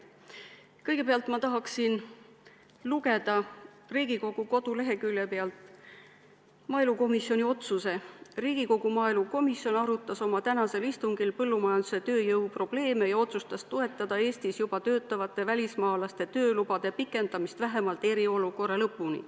Kõigepealt tahan ma ette lugeda Riigikogu koduleheküljelt maaelukomisjoni otsuse: "Riigikogu maaelukomisjon arutas oma tänasel istungil põllumajanduse tööjõu probleeme ja otsustas toetada Eestis juba töötavate välismaalaste töölubade pikendamist vähemalt eriolukorra lõpuni.